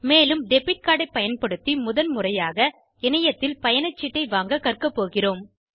மேலும் debit card ஐ பயன்படுத்தி முதல்முறையாக இணையத்தில் பயணச்சீட்டை வாங்கக் கற்கப் போகிறோம்